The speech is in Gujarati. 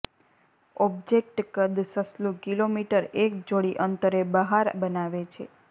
ઓબ્જેક્ટ કદ સસલું કિલોમીટર એક જોડી અંતરે બહાર બનાવે છે